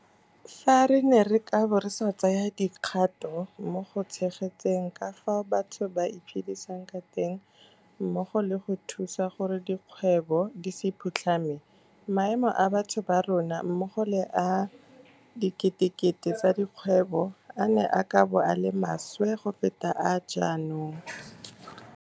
Fa re ne re ka bo re sa tsaya dikgato mo go tshegetseng ka fao batho ba iphedisang ka teng mmogo le go thusa gore dikgwebo di se phutlhame, maemo a batho ba rona mmogo le a diketekete tsa dikgwebo a ne a ka bo a le maswe go feta a ga jaanong.